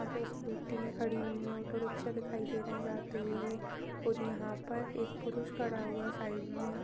पे स्कूटी खड़ी हुए है ऑटो रिक्शा दिखाई दे रहै हैं जाते हुए और यहाँ पर एक पुरुष खड़ा हुआ है साइड में --